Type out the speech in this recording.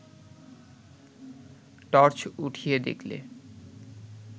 torch উঠিয়ে দেখলে